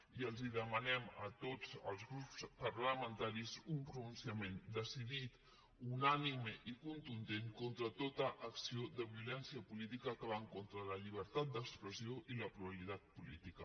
i demanem a tots els grups parlamentaris un pronunciament decidit unànime i contundent contra tota acció de violència política que va en contra de la llibertat d’expressió i la pluralitat política